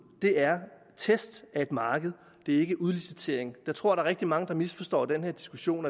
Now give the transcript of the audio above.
er test af et marked det er ikke udlicitering jeg tror er rigtig mange der misforstår den her diskussion